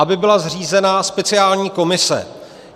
Aby byla zřízena speciální komise.